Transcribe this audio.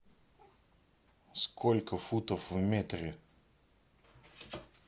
сколько футов в метре